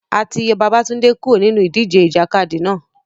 A ti yọ Babatunde kuro ninu idije ijakadi náa